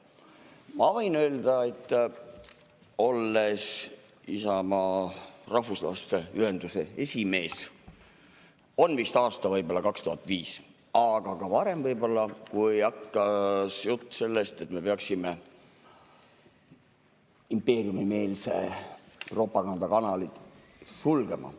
Ma võin öelda, olles Isamaa rahvuslaste ühenduse esimees, oli vist aasta 2005, aga võib-olla ka varem, kui hakkas jutt sellest, et me peaksime impeeriumimeelse propaganda kanalid sulgema.